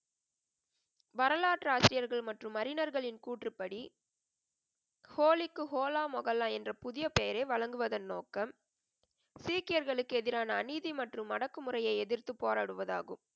வரலாற்று ஆசிரியர்கள் மற்றும் அறிஞர்களின் கூற்றுப்படி, ஹோலிக்கு ஹோலா மொகல்லா என்ற புதிய பெயரே வழங்குவதன் நோக்கம், சீக்கியர்களுக்கு எதிரான அநீதி மற்றும் அடக்குமுறையை எதிர்த்து போராடுவது ஆகும்.